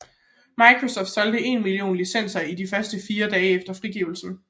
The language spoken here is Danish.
Microsoft solgte én million licenser i de første fire dage efter frigivelsen